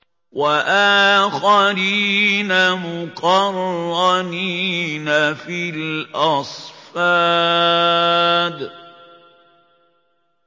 وَآخَرِينَ مُقَرَّنِينَ فِي الْأَصْفَادِ